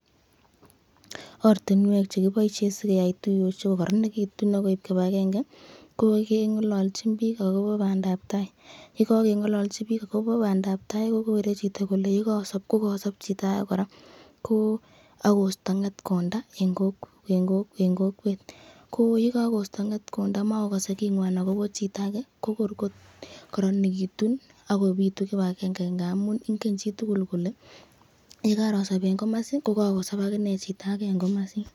Ortinwek sikeyai tuyoshek kororonekitun ak koib kibakenge ko keng'ololchin biik ak kobo bandab taai, yekokengololchi biik ak kobo bandab taai kokere chito kole yekoosob kokosob chito akee kora, ko ak kosto ng'etkonda en kokwet, ko yekokosto ng'etkonda makokkose king'wan ak kobo chito akee ko koor kokoronekitu ak kobitu kibakenge amun ing'en chitukul kole yekorosob en komosi ko kosob chito akine akee en komosin.